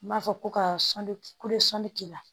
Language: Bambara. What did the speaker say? N b'a fɔ ko ka sɔn kulu sɔnni k'i la